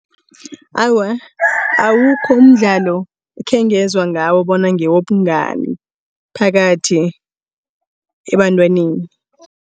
Awa, awukho umdlalo ekhengezwa ngawo bona ngewobungani phakathi ebantwaneni.